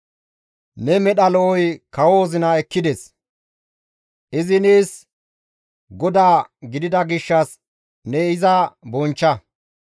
Ne medha lo7oy kawo wozina ekkides; izi nees goda gidida gishshas ne iza bonchcha.